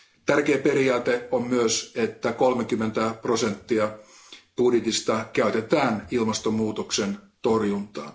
Tärkeä periaate on myös se, että 30 prosenttia budjetista käytetään ilmastonmuutoksen torjuntaan.